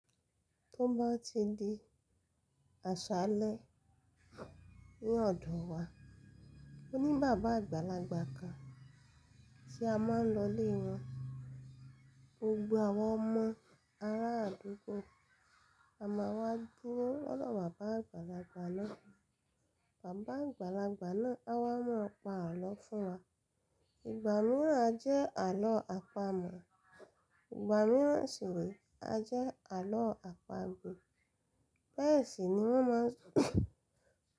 Tó bá ti di àṣálẹ́ ní ọdún wa, mo ní bàbá àgbàlagbà kan tí a máa ń lọ lé wọn. Gbogbo àwọn ọmọ ará àdúgbò àmá wa dúró lọ́wọ́ bàbá àgbàlagbà náà. Bàbá àgbàlagbà náà á wá mú ọ̀pá àlọ́ fún wa. Ìgbà mìíràn a jẹ́ àlọ́ àpamọ̀, ìgbà mìíràn sì nì a jẹ́ àlọ́ àpagbè. Bẹ́ẹ̀ sì ni wọ́n máa ń sọ.